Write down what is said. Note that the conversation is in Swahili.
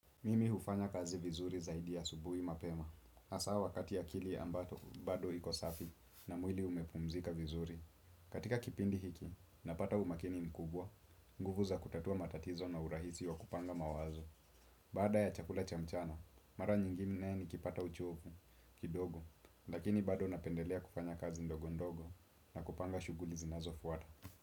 Mimi hufanya kazi vizuri zaidi asubuhi mapema. Hasa wakati akili ambapo bado iko safi na mwili umepumzika vizuri. Katika kipindi hiki, napata umakini mkubwa, nguvu za kutatua matatizo na urahisi wa kupanga mawazo. Baada ya chakula cha mchana, mara nyingine nikipata uchovu, kidogo, lakini bado napendelea kufanya kazi ndogo ndogo na kupanga shughuli zinazofuata.